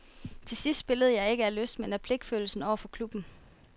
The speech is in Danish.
Til sidst spillede jeg ikke af lyst men af pligtfølelse over for klubben.